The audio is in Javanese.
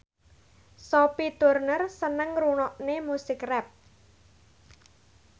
Sophie Turner seneng ngrungokne musik rap